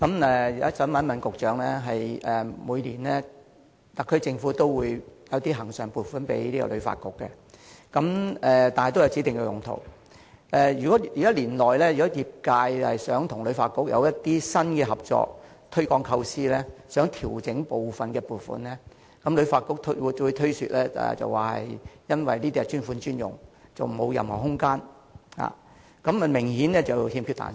我想問局長，特區政府每年均會向旅發局撥出恆常撥款，但都有指定用途，如果年內業界想與旅發局提出新的合作項目或推廣構思，而希望調整部分撥款時，旅發局均會推說由於撥款是"專款專用"，沒有任何調整空間，這明顯是有欠彈性。